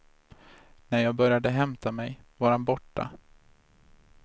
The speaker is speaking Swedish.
När jag började hämta mig var han borta.